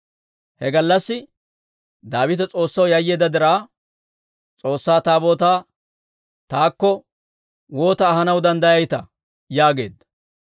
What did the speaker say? He gallassi Daawite S'oossaw yayyeedda diraa, «S'oossaa Taabootaa taakko waata ahanaw danddayayitaa?» yaageedda.